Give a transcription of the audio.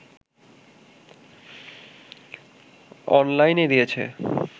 অনলাইনে দিয়েছে